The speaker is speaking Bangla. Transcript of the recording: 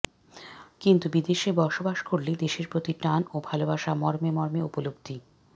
কিন্তু বিদেশে বসবাস করলে দেশের প্রতি টান ও ভালোবাসা মর্মে মর্মে উপলব্ধি